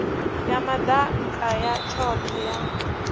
ya madaka ya tshothe ya